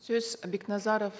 сөз бекназаров